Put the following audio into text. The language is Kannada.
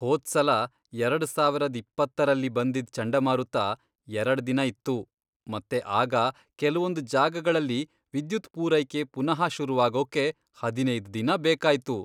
ಹೋದ್ಸಲ ಎರಡ್ ಸಾವರದ್ ಇಪ್ಪತ್ತರಲ್ಲಿ ಬಂದಿದ್ ಚಂಡಮಾರುತ ಎರಡ್ ದಿನ ಇತ್ತು ಮತ್ತೆ ಆಗ ಕೆಲ್ವೊಂದ್ ಜಾಗಗಳಲ್ಲಿ ವಿದ್ಯುತ್ ಪೂರೈಕೆ ಪುನಃ ಶುರುವಾಗೋಕೆ ಹದಿನೈದ್ ದಿನ ಬೇಕಾಯ್ತು.